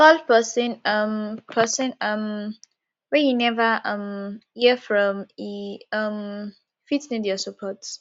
call pesin um pesin um wey you neva um hear from e um fit need your support